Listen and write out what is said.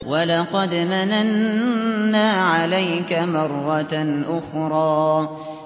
وَلَقَدْ مَنَنَّا عَلَيْكَ مَرَّةً أُخْرَىٰ